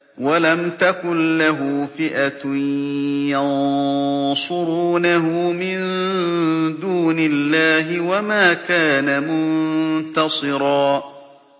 وَلَمْ تَكُن لَّهُ فِئَةٌ يَنصُرُونَهُ مِن دُونِ اللَّهِ وَمَا كَانَ مُنتَصِرًا